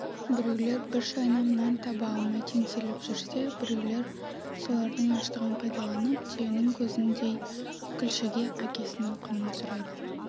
біреулер бір шайнам нан таба алмай теңселіп жүрсе біреулер солардың аштығын пайдаланып түйенің көзіндей күлшеге әкесінің құнын сұрайды